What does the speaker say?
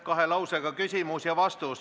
Kahe lausega küsimus ja vastus.